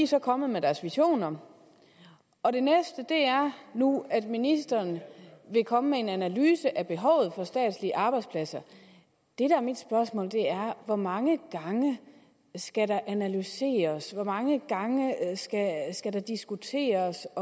så kommet med deres visioner og det næste er nu at ministeren vil komme med en analyse af behovet for statslige arbejdspladser mit spørgsmål er hvor mange gange skal der analyseres hvor mange gange skal der diskuteres